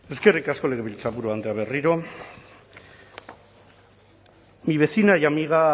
eskerrik asko legebiltzarburu andrea berriro mi vecina y amiga